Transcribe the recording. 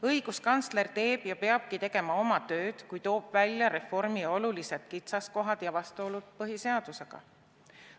Õiguskantsler teeb ja peabki tegema oma tööd, kui toob välja reformi olulised kitsaskohad ja vastuolud põhiseadusega.